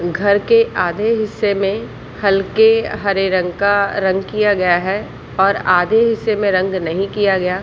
घर के आधे हिस्से में हलके हरे रंग का रंग किया गया है और आधे हिस्से में रंग नहीं किया गया।